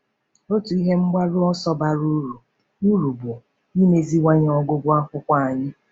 Otu ihe mgbaru ọsọ bara uru uru bụ imeziwanye ọgụgụ akwụkwọ anyị.